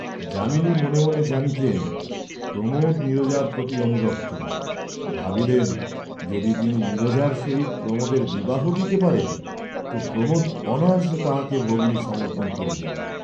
যামিনী মনে মনে জানিতেন প্রমোদ নীরজার প্রতি অনুরক্ত; ভাবিলেন যদি তিনি নীরজার সহিত প্রমােদের বিবাহ দিতে পারেন, তো প্রমোদ অনায়াসে তাঁহাকে ভগিনী সমর্পণ করিবেন।